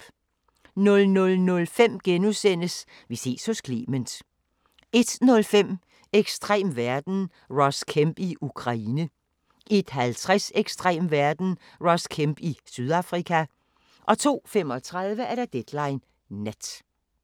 00:05: Vi ses hos Clement * 01:05: Ekstrem verden – Ross Kemp i Ukraine 01:50: Ekstrem verden – Ross Kemp i Sydafrika 02:35: Deadline Nat